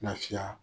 Lafiya